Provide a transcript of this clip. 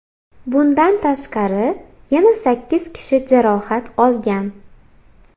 Bundan tashqari, yana sakkiz kishi jarohat olgan.